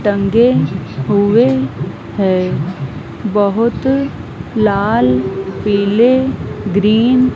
टंगे हुए हैं बहुत लाल पीले ग्रीन --